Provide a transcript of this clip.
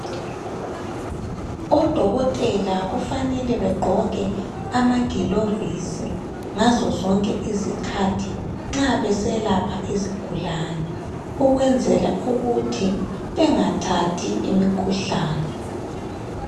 Odokotela kufanele bagqoke amagilovisi, ngazozonke isikhathi nxa beselapha izigulane. Ukwenzela ukuthi bengathathi imikhuhlane.